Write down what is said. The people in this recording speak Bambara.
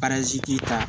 ta